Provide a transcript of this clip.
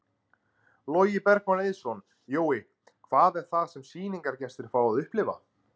Logi Bergmann Eiðsson: Jói, hvað er það sem sýningargestir fá að upplifa?